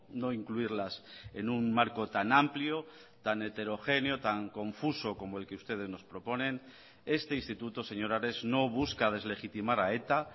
no incluirlas en un marco tan amplio tan heterogéneo tan confuso como el que ustedes nos proponen este instituto señor ares no busca deslegitimar a eta